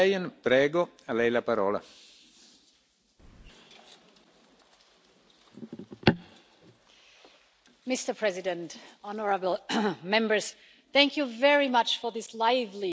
Mr President, honourable Members, thank you very much for this lively discussion.